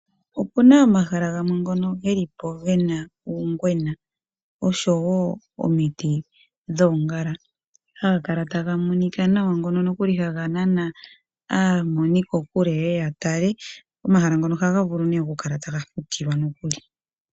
Opuna omahala gamwe ngono geli po gena uungwena osho wo omiti dhoongala, ha ga kala ta ga monika nawa ngono nokuli hava nana aamoni ko kule ye ye ya tale. Omahala ngono oha vulu oku kala taga fukilwa nokuli.